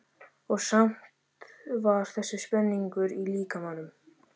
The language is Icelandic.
Og samt samt var þessi spenningur í líkamanum.